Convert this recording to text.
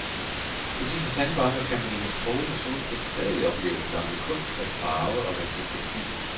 På disse sandbanker kan man i det strålende solskin stadig opleve den gamle kunst at farve og vaske tekstiler.